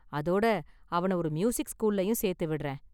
அதோட, அவனை ஒரு மியூசிக் ஸ்கூல்லயும் சேர்த்து விடறேன்.